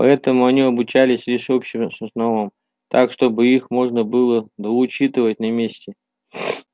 поэтому они обучались лишь общим основам так чтобы их можно было доучитывать на месте